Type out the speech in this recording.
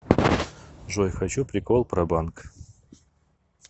джой хочу прикол про банк